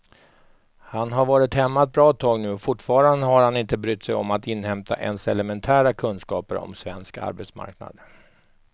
Han har varit hemma ett bra tag nu och fortfarande har han inte brytt sig om att inhämta ens elementära kunskaper om svensk arbetsmarknad.